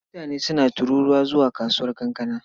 Mutane suna tururuwa zuwa kasuwar kankana.